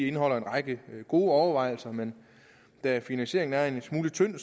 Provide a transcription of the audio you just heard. indeholder en række gode overvejelser men da finansieringen er en smule tynd